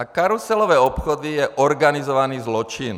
A karuselové obchody jsou organizovaný zločin.